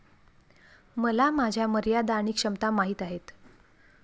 मला माझ्या मर्यादा आणि क्षमता माहीत आहेत.